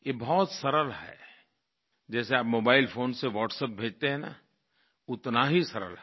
ये बहुत सरल है जैसे आप मोबाइल फोन से WhatsApp भेजते हैं न उतना ही सरल है